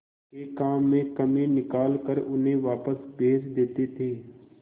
के काम में कमी निकाल कर उन्हें वापस भेज देते थे